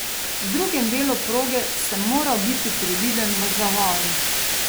V drugem delu proge sem moral biti previden v zavojih.